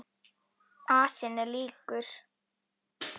Asinn er slíkur.